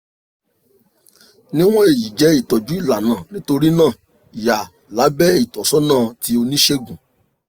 niwon eyi jẹ itọju ilana nitorinaa ya labẹ itọsọna ti onisegun